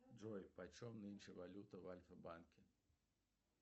джой почем нынче валюта в альфа банке